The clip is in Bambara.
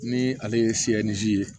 Ni ale ye fiyɛli ji ye